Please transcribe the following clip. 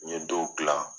N ye dɔw gilan